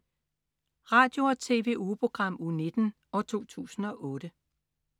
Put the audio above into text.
Radio- og TV-ugeprogram Uge 19, 2008